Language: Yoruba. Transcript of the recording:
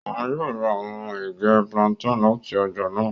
Oun yoo ra awọn ege plantain lati ọja naa.